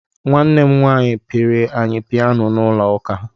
Nwanne m nwaanyị pịịrị anyị piyano n'ụlọ ụka.